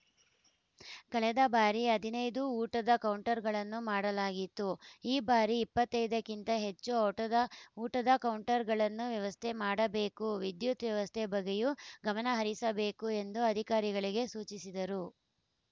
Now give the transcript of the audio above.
ಕಳೆದ ಬಾರಿ ಹದಿನೈದು ಊಟದ ಕೌಂಟರ್‌ಗಳನ್ನು ಮಾಡಲಾಗಿತ್ತು ಈ ಬಾರಿ ಇಪ್ಪತ್ತೈದಕ್ಕಿಂತ ಹೆಚ್ಚು ಓಟದ ಊಟದ ಕೌಂಟರ್‌ಗಳನ್ನು ವ್ಯವಸ್ಥೆ ಮಾಡಬೇಕು ವಿದ್ಯುತ್‌ ವ್ಯವಸ್ಥೆ ಬಗ್ಗೆಯೂ ಗಮನಹರಿಸಬೇಕು ಎಂದು ಅಧಿಕಾರಿಗಳಿಗೆ ಸೂಚಿಸಿದರು